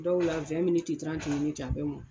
Dɔw la a bɛ mɔn.